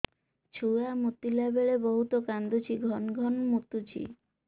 ଛୁଆ ମୁତିଲା ବେଳେ ବହୁତ କାନ୍ଦୁଛି ଘନ ଘନ ମୁତୁଛି